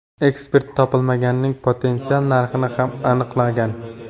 Ekspert topilmaning potensial narxini ham aniqlagan.